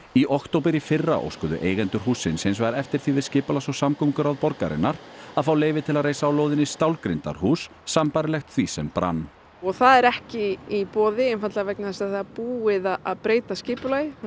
í október í fyrra óskuðu eigendur hússins hins vegar eftir því við skipulags og samgönguráð borgarinnar að fá leyfi til að reisa á lóðinni stálgrindarhús sambærilegt því sem brann og það er ekki í boði einfaldlega vegna þess að það er búið að að breyta skipulagi og